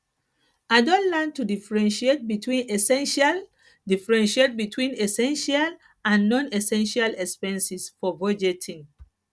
i don learn to differentiate between essential differentiate between essential and nonessential expenses for budgeting